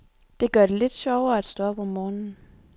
Det gør det lidt sjovere at stå op om morgenen.